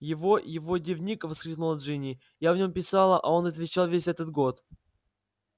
его его дневник всхлипнула джинни я в нем писала а он отвечал весь этот год